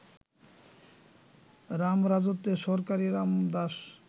রামরাজত্বে সরকারি রামদাস